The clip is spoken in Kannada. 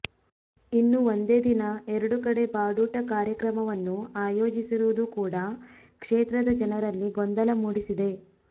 ಇನ್ನು ಒಂದೇ ದಿನ ಎರಡು ಕಡೆ ಬಾಡೂಟ ಕಾರ್ಯಕ್ರಮವನ್ನು ಆಯೋಜಿಸಿರುವುದು ಕೂಡ ಕ್ಷೇತ್ರದ ಜನರಲ್ಲಿ ಗೊಂದಲ ಮೂಡಿಸಿದೆ